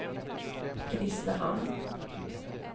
Grisslehamn